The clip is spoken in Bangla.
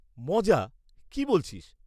মজা? কী বলছিস!